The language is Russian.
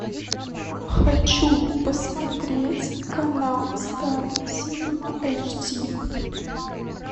хочу посмотреть канал стар синема эйч ди